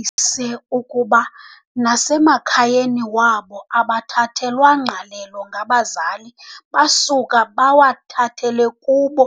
ise ukuba nasemakhayeni wabo abathathelwa ngqalelo ngabazali basuka bawathathele kubo